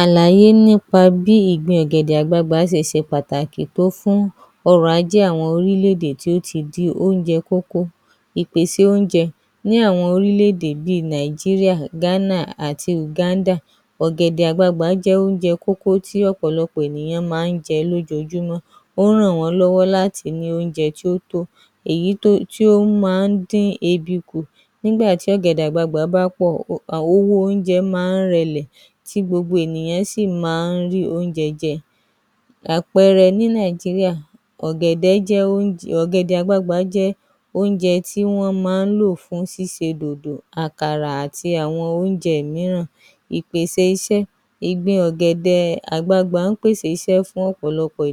Àlàyé nípa bí ìgbin ọ̀gẹ̀dẹ̀ àgbagbàá ṣe ṣe pàtàkì tó fún ọ̀rọ̀ àwọn orílẹ̀ - èdè tó ti di oúnjẹ kókó ìpèsè oúnjẹ ní àwọn orílẹ̀ èdè bíi Nàìjíríà, Ghana àti Uganda. Ọ̀gẹ̀dẹ̀ àgbagbàá jẹ́ oúnjẹ kókó tí àwọn ènìyàn máa ń jẹ lójoojúmọ́, ó ràn wọ́n lọ́wọ́ láti ní oúnjẹ tí ó tó, èyí tí ó máa ń dín ebi kù, nígbà tí ọ̀gẹ̀dẹ̀ àgbagbàá bá pọ̀, owó oúnjẹ máa ń rẹlẹ̀ tí gbogbo àwọn ènìyàn sì máa ń rí oúnjẹ jẹ, àpẹẹrẹ ní Nàìjíríà, ọ̀gẹ̀dẹ̀ Àgbagbàá jẹ́ oúnjẹ tí wọ́n máa ń lò fún ṣíṣe dodo, àkàrà àti àwọn oúnjẹ mìíràn. Ìpèsè iṣẹ́: ìgbin ọ̀gẹ̀dẹ̀ àgbagbàá pèsè iṣẹ́ fún ọ̀pọ̀lọpọ̀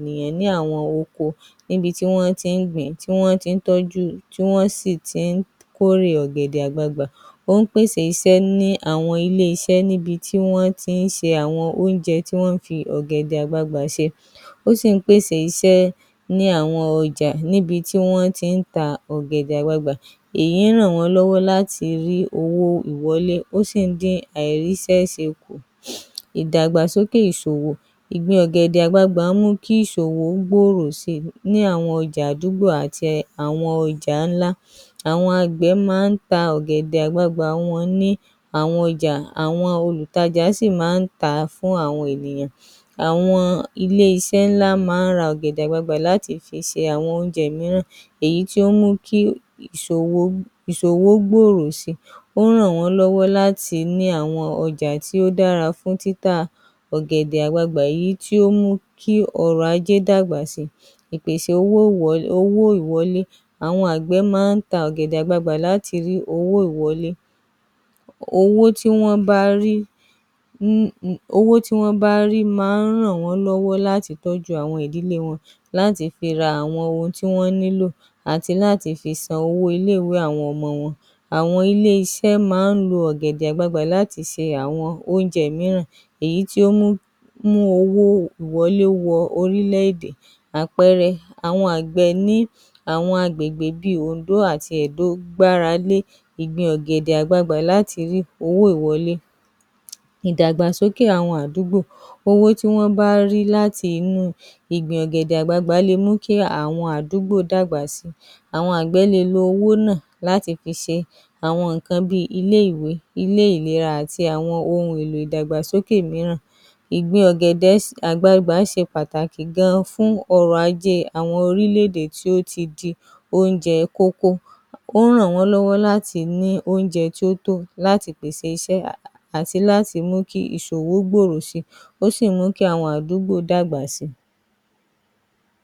àwọn oko níbi tí wọ́n ti ń gbì ín tí wọ́n ti ń tọ́jú, tí wọn sì ti ń kórè ọ̀gẹ̀dẹ̀ àgbààgbà, ó ń pèsè iṣẹ́ ní àwọn ilé iṣẹ́ níbi tí wọ́n ti ń ṣe àwọn oúnjẹ tí wọ́n ń fi ọ̀gẹ̀dẹ̀ àgbagbàá ṣe, ó sì ń pèsè iṣẹ́ ní àwọn ọjà níbi tí wọ́n ti ń ta ọ̀gẹ̀dẹ̀ àgbagbàá, èyí ràn wọ́n lọ́wọ́ láti rí owó ìwọlé ó sì ń dín àìríṣẹ́ ṣe kù, ìdàgbàsókè ìsòwò: ọ̀gẹ̀dẹ̀ àgbagbàá Ń mú kí ìsòwò kí ìsòwò gbòòrò sí I ní àwọn ọjà àdúgbò àti àwọn ọjà ńlá, àwọn àgbẹ̀ máa ń ta àwọn ọ̀gẹ̀dẹ̀ àgbagbàá wọn ní àwọn ọjà àwọn olùtajà sì máa ń tà á fún àwọn ènìyàn, àwọn ilé iṣẹ́ ńlá máa ń ra ọ̀gẹ̀dẹ̀ àgbagbàá láti fi ṣe àwọn oúnjẹ mìíràn, èyí tí ó mú kí ìsòwò gbòòrò sí i, ó ń ràn wọ́n lọ́wọ́ láti ní àwọn ọjà tí ó dára fún títà ọ̀gẹ̀dẹ̀ àgbagbàá yìí tí ó ń mú kí ọrọ̀ ajé gbòòrò sí i, ìpèsè owó ìwọlé :àwọn àgbẹ̀ máa ń ta ọ̀gẹ̀dẹ̀ láti rí owó ìwọlé, owó tí wọ́n bá rí máa ń ràn wọ́n lọ́wọ́ láti tọ́jú ìdílé wọn, láti fi ra àwọn ohun tí wọ́n nílò àti láti fi san owó ilé ìwé àwọn ọmọ wọn, àwọn ilé iṣẹ́ máa ń lo ọ̀gẹ̀dẹ̀ àgbagbàá láti ṣe àwọn oúnjẹ mìíràn, èyí tí ó mú owó ìwọlé wọ orílẹ̀ èdè àpẹẹrẹ àwọn àgbẹ̀ ní Ìpínlẹ̀ Òǹdó àti Ẹdó gbára lé ìgbin ọ̀gẹ̀dẹ̀ àgbagbàá láti rí owó ìwọlé. Ìdàgbàsókè àwọn àdúgbò :owó tí wọ́n bá rí láti inú ìgbin ọ̀gẹ̀dẹ̀ àgbagbàá lè mú kí àwọn àdúgbò dàgbà sí i, àwọn àgbẹ̀ le lọ owó náà láti fi ṣe àwọn nǹkan bíi ilé ìwé, ilé ìlera àti ìdàgbàsókè mìíràn, ìgbin ọ̀gẹ̀dẹ̀ àgbagbàá ṣe pàtàkì gan fún ọ̀rọ̀ ajé àwọn orílẹ̀ èdè tí ó ti di oúnjẹ kókó, ó ń ràn wọ́n lọ́wọ́ láti ní oúnjẹ tó tó láti pèsè iṣẹ́ àti láti mú kí ìsòwò gbòòrò sí i ó sì mú kí àwọn àdúgbò dàgbà sí i. ‎